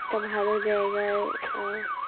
একটা ভালো জায়গায় আহ